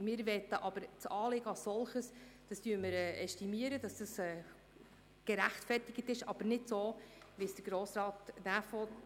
Das Anliegen als solches ästimieren wir, es ist gerechtfertigt, aber nicht so, wie es Grossrat Näf will.